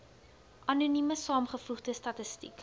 anonieme saamgevoegde statistieke